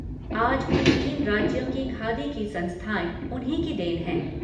आज भी तीन राज्यों की खादी की संस्थाएं उन्हीं की देन है।